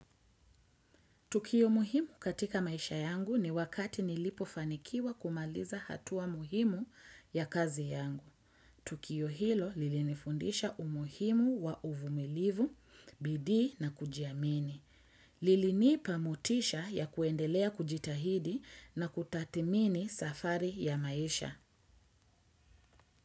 Tukio muhimu katika maisha yangu ni wakati nilipofanikiwa kumaliza hatua muhimu ya kazi yangu. Tukio hilo lilinifundisha umuhimu wa uvumilivu, bidii na kujiamini. Lilinipa motisha ya kuendelea kujitahidi na kutathimini safari ya maisha.